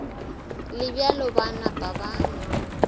le bjalo ba napa ba